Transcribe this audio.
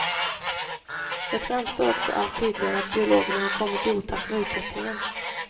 Det framstår också allt tydligare att biologerna har kommit i otakt med utvecklingen.